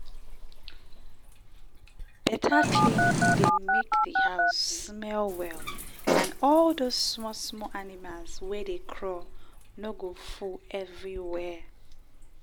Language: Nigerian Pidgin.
better cleaning dey make di house smell well and all those small small animals wey dey crawl no go full every where.